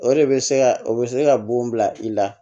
O de bɛ se ka o bɛ se ka bon bila i la